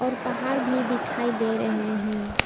पहाड़ भी दिखाई दे रहे हैं।